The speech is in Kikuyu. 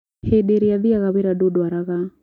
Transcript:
hĩndĩrĩa thiaga wĩra ndũndwaraga